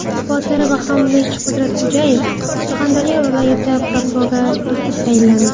Botir Bahromovich Qudratxo‘jayev Surxondaryo viloyati prokurori etib tayinlandi.